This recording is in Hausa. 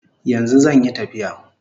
Yanzu zanyi tafiya